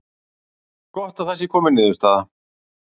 Gott að það sé komin niðurstaða